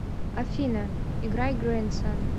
афина играй грэндсон